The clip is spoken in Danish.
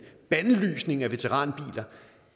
bandlysning af veteranbiler